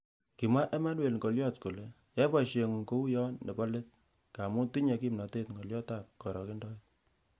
Kimwa Emmanuel Ngolyot kole,"Yai boisieng'ung ko uyon nebo let, ng'amun tinye kimnotet ng'olyotab korokendoet."